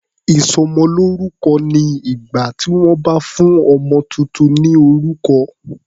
Ìsọmọlórúkọ ni ìgbà tí wọ́n bá fún ọmọ tuntun ní orúkọ.